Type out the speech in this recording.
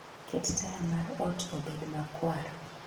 ket taya mar ot obed makwar